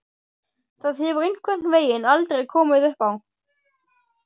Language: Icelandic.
Það hefur einhvern veginn aldrei komið uppá.